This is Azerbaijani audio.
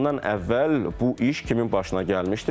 Bundan əvvəl bu iş kimin başına gəlmişdir?